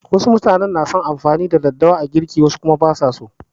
Wasu na son amfani da daddawa a girki wasu kuma ba su so.